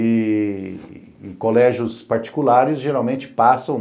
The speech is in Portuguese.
E colégios particulares geralmente passam